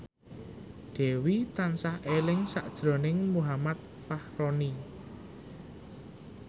Dewi tansah eling sakjroning Muhammad Fachroni